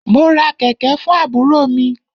Mo ra kẹ̀kẹ̀ fún àbúrò mi.